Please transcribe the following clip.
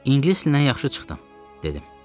İngilis dilindən yaxşı çıxdım, dedim.